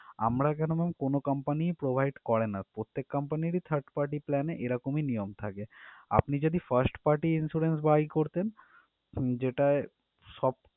আমরা কেনো ma'am কোনো Company ই provide করে না প্রত্যেক company রই third party plan ই এরকমই নিয়ম থাকে আপনি যদি first Party insurance buy করতেন যেটায় সব